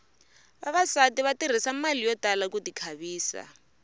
vavasati va tirhisa mali yo tala ku ti khavisa